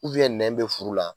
nɛn bɛ furu la.